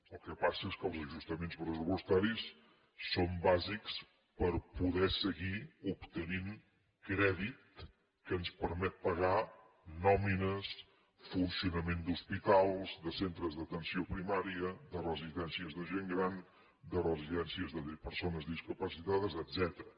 el que passa és que els ajustaments pressupostaris són bàsics per poder seguir obtenint crèdit que ens permet pagar nòmines funcionament d’hospitals de centres d’atenció primària de residències de gent gran de residències de persones discapacitades etcètera